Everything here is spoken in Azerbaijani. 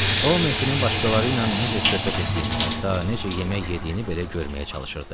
O Mehdinin başqaları ilə necə söhbət etdiyini, hətta necə yemək yediyini belə görməyə çalışırdı.